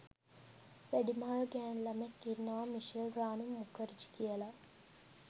වැඩිමල් ගෑනු ළමයෙක් ඉන්නවා මිෂෙල් රානි මුඛර්ජී කියලා